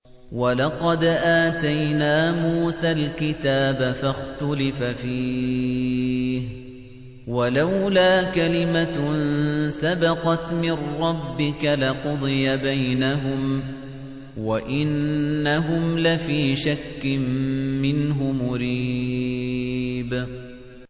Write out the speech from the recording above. وَلَقَدْ آتَيْنَا مُوسَى الْكِتَابَ فَاخْتُلِفَ فِيهِ ۚ وَلَوْلَا كَلِمَةٌ سَبَقَتْ مِن رَّبِّكَ لَقُضِيَ بَيْنَهُمْ ۚ وَإِنَّهُمْ لَفِي شَكٍّ مِّنْهُ مُرِيبٍ